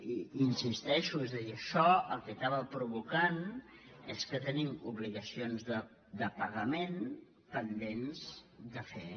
i hi insisteixo és a dir això el que acaba provocant és que tenim obligacions de pagament pen·dents de fer